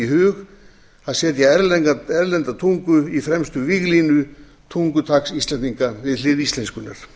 sér detta í hug að setja erlenda tungu í fremstu víglínu tungutaks íslendinga við hlið íslenskunnar